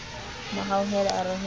mo hauhela a re ho